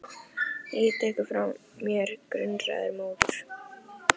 Ég ýti ekki frá mér grunaðri móður.